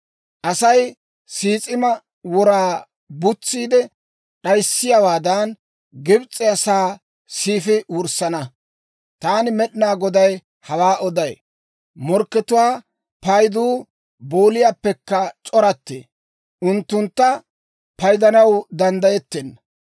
Asay sis'ima wora butsiide d'ayissiyaawaadan, Gibs'e asaa siifi wurssana. Taani Med'inaa Goday hawaa oday. Morkketuwaa payduu booliyaappekka c'orattee; unttuntta paydanaw danddayettenna.